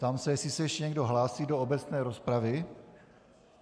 Ptám se, jestli se ještě někdo hlásí do obecné rozpravy.